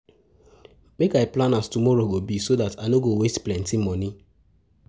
Make I plan as tomorrow go be so dat I no go waste plenty moni.